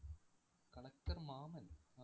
collector Mammen‍